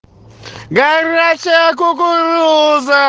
горячая кукуруза